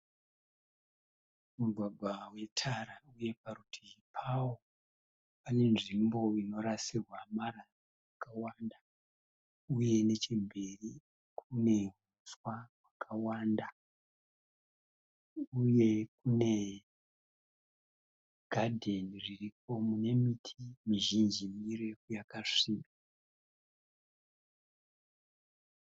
Mugwagwa wetara uye paruti pavo pane nzvimbo inorasirwa marara akawanda uye nechemberi kune uswa hwakawanda uye kune gadheni riripo mune miti mizhinji mirefu yakasviba.